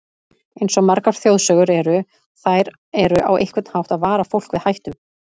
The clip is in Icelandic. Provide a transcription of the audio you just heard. Eins og margar þjóðsögur eru, þær eru á einhvern hátt að vara fólk við hættum.